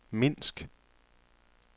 Minsk